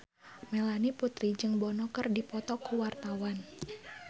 Melanie Putri jeung Bono keur dipoto ku wartawan